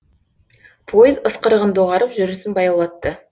пойыз ысқырығын доғарып жүрісін баяулатты